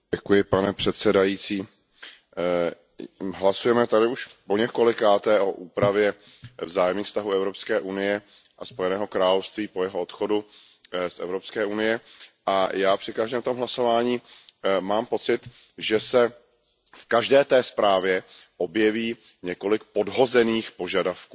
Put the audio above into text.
Pane předsedající, hlasujeme tady už poněkolikáté o úpravě vzájemných vztahů Evropské unie a Spojeného království po jeho odchodu z Evropské unie a já při každém tom hlasování mám pocit, že se v každé zprávě objeví několik podhozených požadavků,